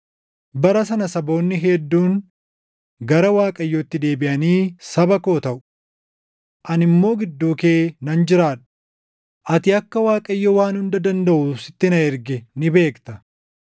“Bara sana saboonni hedduun gara Waaqayyootti deebiʼanii saba koo taʼu. Ani immoo gidduu kee nan jiraadha; ati akka Waaqayyo Waan Hunda Dandaʼu sitti na erge ni beekta.